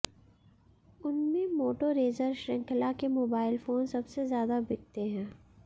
उनमें मोटोरेजर शृंखला के मोबाइल फोन सबसे ज्यादा बिकते हैं